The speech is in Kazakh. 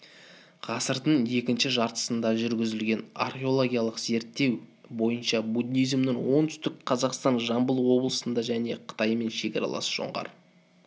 ғасырдың екінші жартысында жүргізілген археологиялық зерттеу бойынша буддизмнің оңтүстік қазақстан жамбыл облыстарында және қытаймен шекаралас жоңғар